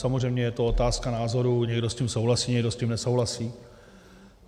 Samozřejmě je to otázka názoru, někdo s tím souhlasí, někdo s tím nesouhlasí.